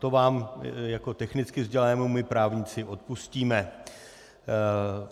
To vám jako technicky vzdělanému my právníci odpustíme.